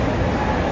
Allah.